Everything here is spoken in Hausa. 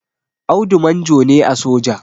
Audu manjo ne a soja